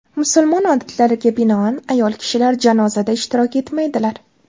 Musulmon odatlariga binoan, ayol kishilar janozada ishtirok etmaydilar.